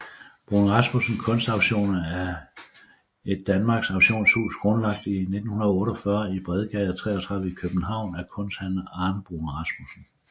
Bruun Rasmussen Kunstauktioner er et dansk auktionshus grundlagt 1948 i Bredgade 33 i København af kunsthandler Arne Bruun Rasmussen